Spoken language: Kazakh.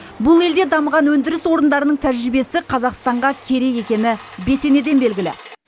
бұл елде дамыған өндіріс орындарының тәжірибесі қазақстанға керек екені бесенеден белгілі